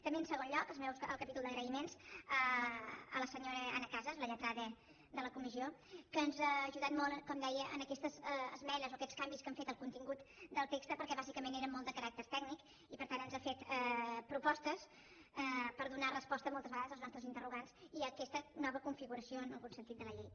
també en segon lloc al capítol d’agraïments a la senyora anna casas la lletrada de la comissió que ens ha ajudat molt com deia en aquestes esmenes o aquests canvis que hem fet del contingut del text perquè bàsicament eren molt de caràcter tècnic i per tant ens ha fet propostes per donar resposta moltes vegades als nostres interrogants i a aquesta nova configuració en algun sentit de la llei